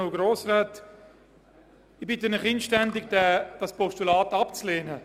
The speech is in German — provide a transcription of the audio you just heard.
Ich bitte Sie inständig, dieses Postulat abzulehnen.